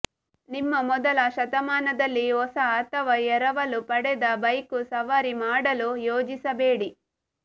ನಿಮ್ಮ ಮೊದಲ ಶತಮಾನದಲ್ಲಿ ಹೊಸ ಅಥವಾ ಎರವಲು ಪಡೆದ ಬೈಕು ಸವಾರಿ ಮಾಡಲು ಯೋಜಿಸಬೇಡಿ